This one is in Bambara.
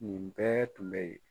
Nin bɛɛ tun bɛ yen.